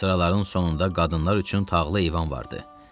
Sıraların sonunda qadınlar üçün tağlı eyvan var idi.